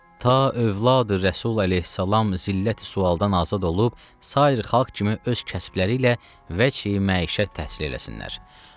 Ta övladı Rəsul əleyhissalam zillət sualdan azad olub, sair xalq kimi öz kəsbələri ilə vəc məişət təhsil eləsinlər.